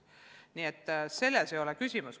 Nii et selles ei ole küsimus.